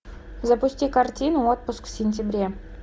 запусти картину отпуск в сентябре